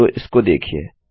तो इसको देखिये